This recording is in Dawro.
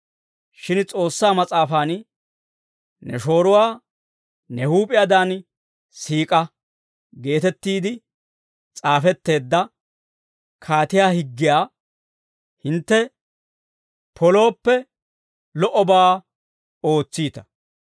Shin S'oossaa Mas'aafan, «Ne shooruwaa ne huup'iyaadan siik'a» geetettiide s'aafetteedda kaatiyaa higgiyaa hintte polooppe, lo"obaa ootsiita.